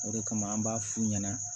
O de kama an b'a f'u ɲɛna